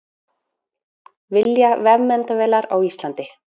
Vilja vefmyndavélar á Íslandi